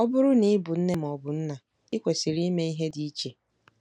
Ọ bụrụ na ị bụ nne ma ọ bụ nna, i kwesịrị ime ihe dị iche.